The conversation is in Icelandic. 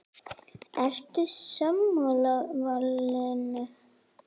Ertu sammála valinu?